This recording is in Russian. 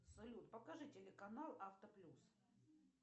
салют покажи телеканал авто плюс